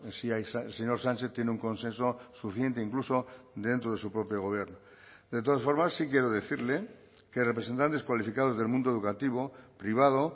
si el señor sánchez tiene un consenso suficiente incluso dentro de su propio gobierno de todas formas sí quiero decirle que representantes cualificados del mundo educativo privado